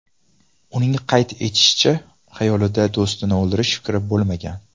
Uning qayd etishicha, xayolida do‘stini o‘ldirish fikri bo‘lmagan.